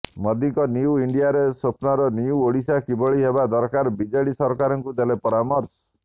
ମୋଦିଙ୍କ ନ୍ୟୁ ଇଣ୍ଡିଆରେ ସ୍ୱପ୍ନର ନ୍ୟୁ ଓଡିଶା କିଭଳି ହେବା ଦରକାର ବିଜେଡି ସରକାରଙ୍କୁ ଦେଲେ ପରାମର୍ଶ